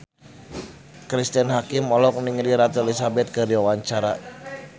Cristine Hakim olohok ningali Ratu Elizabeth keur diwawancara